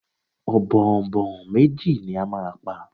Ọ̀bọ̀ọ̀nbọọ̀n méjì ni a máa pa.